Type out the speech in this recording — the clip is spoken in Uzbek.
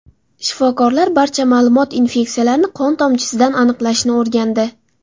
Shifokorlar barcha ma’lum infeksiyalarni qon tomchisidan aniqlashni o‘rgandi.